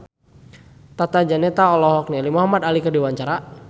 Tata Janeta olohok ningali Muhamad Ali keur diwawancara